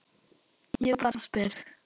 Ég bara spyr!